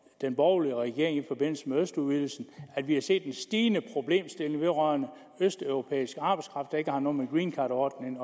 den borgerlige regering i forbindelse med østudvidelsen og at vi har set en stigende problemstilling vedrørende østeuropæisk arbejdskraft der ikke har noget med greencardordningen